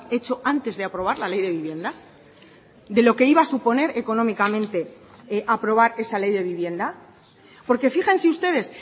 hecho antes de aprobar la ley de vivienda de lo que iba a suponer económicamente aprobar esa ley de vivienda porque fíjense ustedes